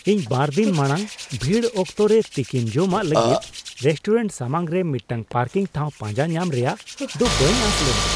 ᱤᱧ ᱒ ᱫᱤᱱ ᱢᱟᱲᱟᱝ ᱵᱷᱤᱲ ᱚᱠᱛᱚᱨᱮ ᱛᱤᱠᱤᱱ ᱡᱚᱢᱟᱜ ᱞᱟᱹᱜᱤᱫ ᱨᱮᱥᱴᱩᱨᱮᱱᱴ ᱥᱟᱢᱟᱝ ᱨᱮ ᱢᱤᱫᱴᱟᱝ ᱯᱟᱨᱠᱤᱝ ᱴᱷᱟᱶ ᱯᱟᱸᱡᱟ ᱧᱟᱢ ᱨᱮᱭᱟᱜ ᱫᱚ ᱵᱟᱹᱧ ᱟᱸᱥ ᱞᱮᱱᱟ ᱾